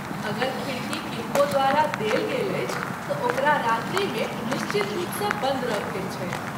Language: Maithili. अगर खिड़की किनको द्वारा देल गेल अछि त’ ओकरा रात्रि मे निश्चित रूप सँ बन्द रखैत छथि।